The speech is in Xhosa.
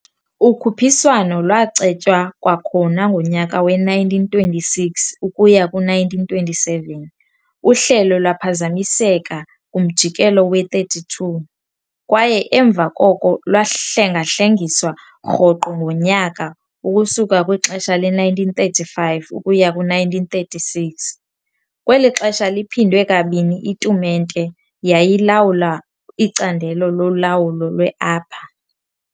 Ukhuphiswano lwacetywa kwakhona ngonyaka we-1926 ukuya ku-1927, uhlelo lwaphazamiseka kumjikelo we-32, kwaye emva koko lwahlengahlengiswa rhoqo ngonyaka ukusuka kwixesha le-1935 ukuya ku-1936 -kweli xesha liphindwe kabini itumente yayilawula iCandelo loLawulo lwe-Upper.